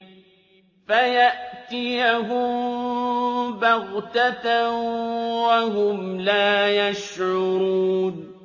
فَيَأْتِيَهُم بَغْتَةً وَهُمْ لَا يَشْعُرُونَ